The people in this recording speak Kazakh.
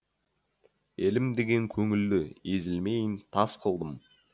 елім деген көңілді езілмейін тас қылдым